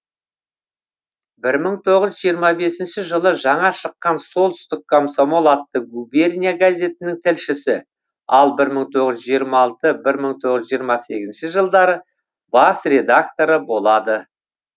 бір мың тоғыз жүз жиырма бесінші жылы жаңа шыққан солтүстік комсомол атты губерния газетінің тілшісі ал бір мың тоғыз жүз жиырма алты бір мың тоғыз жүз жиырма сегізінші жылдары бас редакторы болады